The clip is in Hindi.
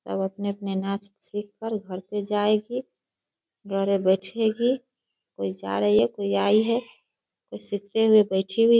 सब अपने-अपने नाच सीख कर घर पे जाएगी। घरे बैठेगी। कोई जा रही है कोई आई है कोई सीखते हुए बैठी हुई --